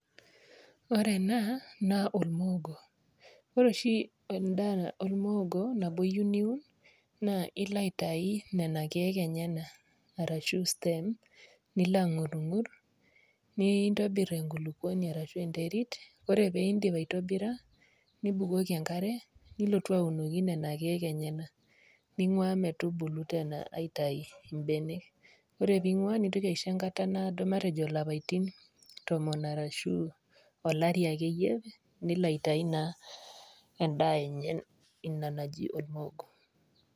Ore ena naa olmuogo, ore oshi olmuogo nabo iyeu niun, naa ilo aitayu nena keek enyena ashu stem nilo ang'urung'ur, nintobir enkulukuoni ino ashu enterit, ore pee indip aitobira, nibukoki engare nilotu aunoki nena keek enyena, ning'ua metubulu teena aitayu imbenek. Ore pee ing'ua nintoki aisho erishata naado matejo ilapaitin tomon ashu olari akeyie, nilo aitayu naa endaa enye ina naji olmuogo.